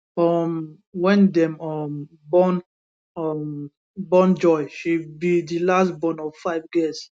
um wen dem um born um born joy she be di last born of five girls